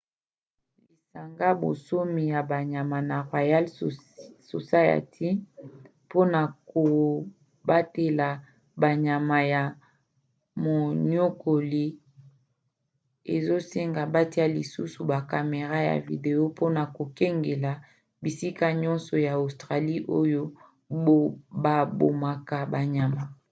lisanga bonsomi ya banyama na royal society mpona kobatela banyama na moniokoli rspca ezosenga batia lisusu ba camera ya video mpona kokengela bisika nyonso ya australie oyo babomaka banyama